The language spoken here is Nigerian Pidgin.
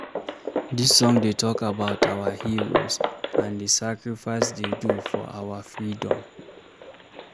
Dis song dey tok about our heroes and di sacrifice dey do for our freedom